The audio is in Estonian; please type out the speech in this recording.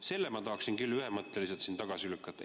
Selle ma tahaksin küll ühemõtteliselt tagasi lükata.